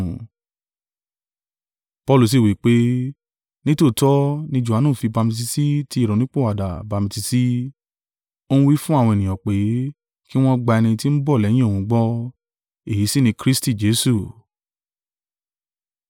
Paulu sí wí pé, “Nítòótọ́, ní Johanu fi bamitiisi tí ìrònúpìwàdà bamitiisi, ó ń wí fún àwọn ènìyàn pé, kí wọ́n gba ẹni tí ń bọ̀ lẹ́yìn òun gbọ́, èyí sì ni Kristi Jesu.”